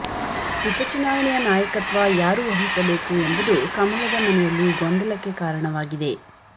ಉಪ ಚುನಾವಣೆಯ ನಾಯಕತ್ವ ಯಾರು ವಹಿಸಬೇಕು ಎಂಬುದು ಕಮಲದ ಮನೆಯಲ್ಲಿ ಗೊಂದಲಕ್ಕೆ ಕಾರಣವಾಗಿದೆ